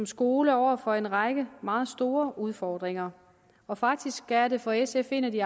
skolen over for en række meget store udfordringer og faktisk er det for sf en af de